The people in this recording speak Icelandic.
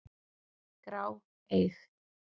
grá, eig.